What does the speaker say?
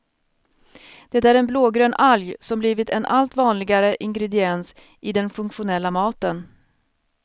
Det är en blågrön alg som blivit en allt vanligare ingrediens i den funktionella maten.